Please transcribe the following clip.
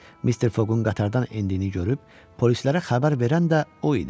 Mister Foqun qatardan endiyini görüb polislərə xəbər verən də o idi.